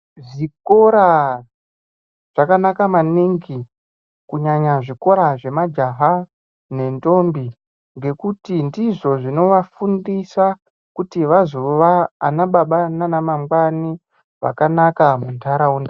Zvikora zvakanaka maningi kunyanya zvikora zvemajaha ngendombi. Ngekuti ndizvo zvinovafundisa kuti vazova anababa nana mangwani vakanaka muntaraunda.